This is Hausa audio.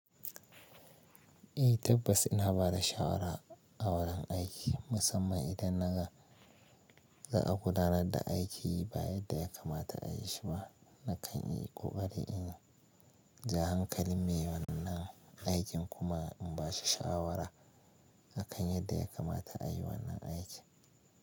Eh tabbas ina bada shawara a wurin aiki musamman idan na ga za a gudanar da aiki ba yadda ya kamata a yi shi ba. Na kan yi ƙoƙari in ja hankalin mai wannan aikin kuma in ba shi shawara na kan yadda ya kamata a yi wannan aiki.